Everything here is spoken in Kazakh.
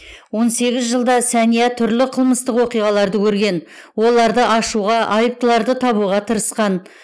он сегіз жылда сәния түрлі қылмыстық оқиғаларды көрген оларды ашуға айыптыларды табуға тырысқан